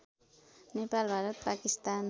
Nepal Bharat Pakistan